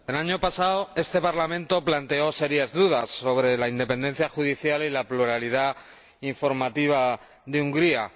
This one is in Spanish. Señora Presidenta, el año pasado este Parlamento planteó serias dudas sobre la independencia judicial y la pluralidad informativa de Hungría.